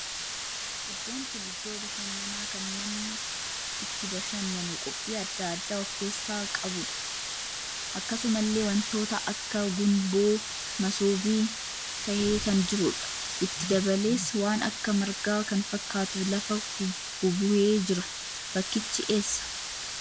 Iddoon kun iddoo bashannanaa kan namni itti bashannanu qophii addaa addaa of keessaa qabuudha. Akkasumallee wantoota akka gunboo masobii tahee kan jiruudha. Itti dabalees waan akka margaa kan fakkaatu lafa bubuhee jira. Bakkichi eessa?